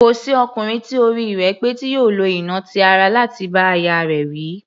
Kò sí ọkùnrin tí orí rẹ̀ pé tí yóò lo ìnà ti ara láti bá aya rẹ̀ wí.